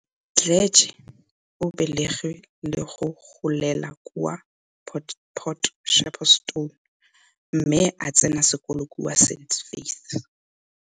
Mdletshe o belegwe le go golela kwa Port Shepstone mme a tsena sekolo kwa St Faiths.